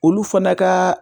Olu fana ka